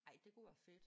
Ej det kunne være fedt